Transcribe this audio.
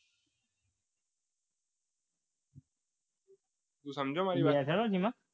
તો સમજે મારી વાત